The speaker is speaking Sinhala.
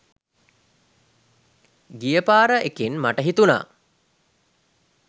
ගිය පාර එකෙන් මට හිතුණා